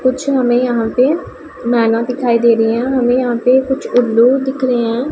कुछ हमे यहां पे मैना दिखाई दे रही हैं हमे यहाँ पे उल्लू दिख रहे हैं।